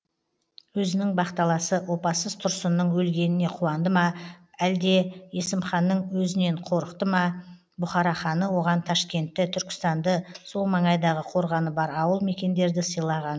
өзінің бақталасы опасыз тұрсынның өлгеніне қуанды ма өлде есімханның өзінен қорықты ма бұхара ханы оған ташкентті түркістанды сол маңайдағы қорғаны бар ауыл мекендерді сыйлаған